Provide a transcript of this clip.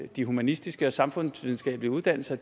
de humanistiske og samfundsvidenskabelige uddannelser